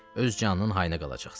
Öz canının hayına qalacaqsan.